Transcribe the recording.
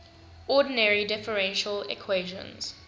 ordinary differential equations